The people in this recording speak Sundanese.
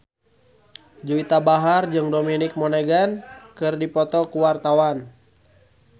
Juwita Bahar jeung Dominic Monaghan keur dipoto ku wartawan